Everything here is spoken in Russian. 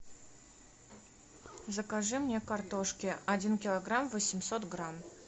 закажи мне картошки один килограмм восемьсот грамм